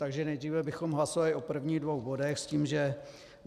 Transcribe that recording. Takže nejdříve bychom hlasovali o prvních dvou bodech s tím, že: